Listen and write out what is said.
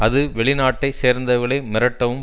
அது வெளி நாட்டை சேர்ந்தவர்களை மிரட்டவும்